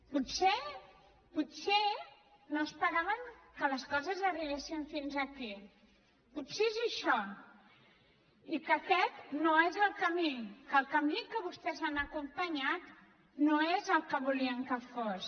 potser potser no esperaven que les coses arribessin fins aquí potser és això i que aquest no és el camí que el camí que vostès han acompanyat no és el que volien que fos